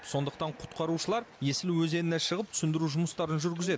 сондықтан құтқарушылар есіл өзеніне шығып түсіндіру жұмыстарын жүргізеді